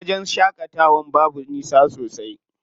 Wajen shaƙatawan babu nisa sosai.